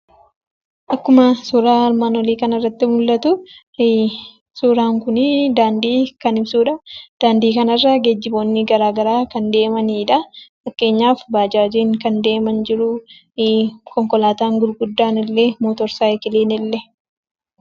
Akkuma suuraa armaan olii kanarratti mul'atu, suuraan kun daandii kan ibsudha. daandii kanarra geejjiboonni garaagaraa kan deemanidha. Fakkeenyaaf, bajaajiin deeman jiru, konkolaatan gurguddan illee, motorsaayikiliin illee..